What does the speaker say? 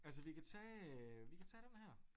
Altså vi kan tage vi kan tage dem her